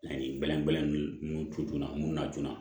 Ani bɛlɛnin munnu to joona mun na joona